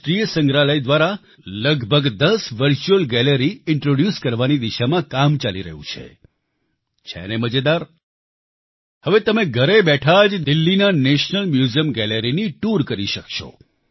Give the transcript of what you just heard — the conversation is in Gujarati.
રાષ્ટ્રિય સંગ્રહાલય દ્વારા લગભગ દસ વર્ચ્યુઅલ ગેલેરી ઇન્ટ્રોડ્યુસ કરવાની દિશામાં કામ ચાલી રહ્યું છે છે ને મજેદાર હવે તમે ઘરે બેઠા જ દિલ્હીના નેશનલ મ્યુઝિયમ ગેલેરીની ટૂર કરી શકશો